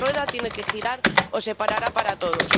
La rueda tiene que girar o se parará para todos.